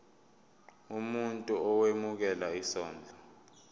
umuntu owemukela isondlo